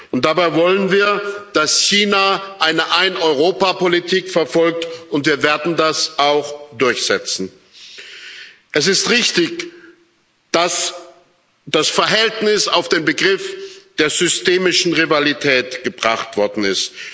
Und dabei wollen wir, dass China eine Ein Europa Politik verfolgt, und wir werden das auch durchsetzen. Es ist richtig, dass das Verhältnis auf den Begriff der systemischen Rivalität gebracht worden ist.